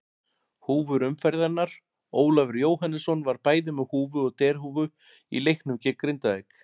Húfur umferðarinnar: Ólafur Jóhannesson var bæði með húfu og derhúfu í leiknum gegn Grindavík.